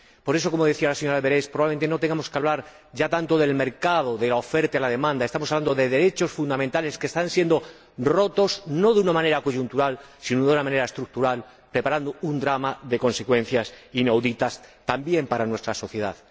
Por eso, como decía la señora Berès, probablemente no tengamos que hablar ya tanto del mercado, de la oferta y la demanda. Estamos hablando de derechos fundamentales que están siendo rotos, no de una manera coyuntural, sino de una manera estructural, preparando un drama de consecuencias inauditas, también para nuestra sociedad.